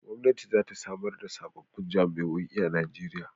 Gwamnati za ta samar da sababbin jami'o'i a Najeriya.